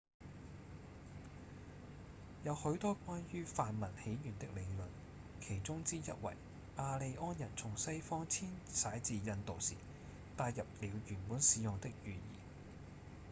有許多關於梵文起源的理論其中之一為雅利安人從西方遷徙至印度時帶入了原本使用的語言